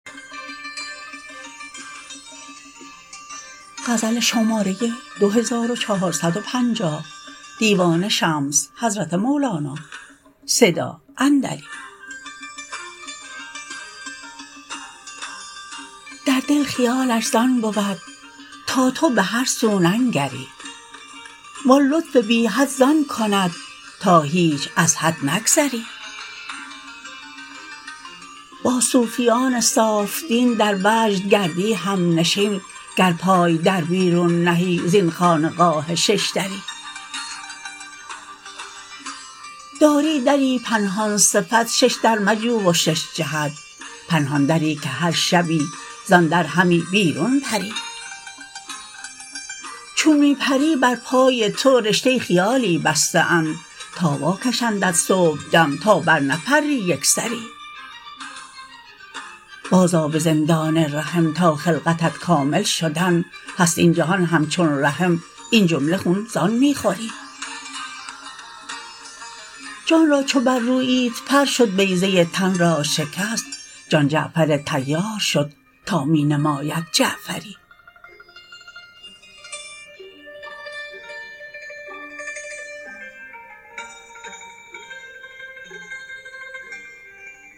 در دل خیالش زان بود تا تو به هر سو ننگری و آن لطف بی حد زان کند تا هیچ از حد نگذری با صوفیان صاف دین در وجد گردی همنشین گر پای در بیرون نهی زین خانقاه شش دری داری دری پنهان صفت شش در مجو و شش جهت پنهان دری که هر شبی زان در همی بیرون پری چون می پری بر پای تو رشته خیالی بسته اند تا واکشندت صبحدم تا برنپری یک سری بازآ به زندان رحم تا خلقتت کامل شدن هست این جهان همچون رحم این جمله خون زان می خوری جان را چو بررویید پر شد بیضه تن را شکست جان جعفر طیار شد تا می نماید جعفری